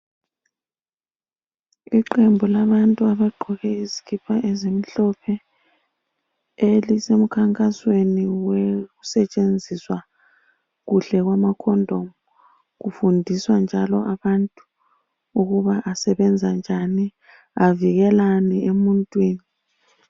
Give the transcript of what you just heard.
Iqembu labantu abagqoke izikipa ezimhlophe elisemkhankasweni wokusetshenziswa kuhle kwama condom. Kufundiswa njalo abantu ukuba asebenza njani avikelani emuntwini